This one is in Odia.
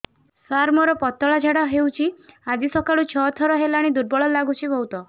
ସାର ମୋର ପତଳା ଝାଡା ହେଉଛି ଆଜି ସକାଳୁ ଛଅ ଥର ହେଲାଣି ଦୁର୍ବଳ ଲାଗୁଚି ବହୁତ